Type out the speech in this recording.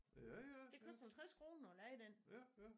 Det koster 50 kroner at leje den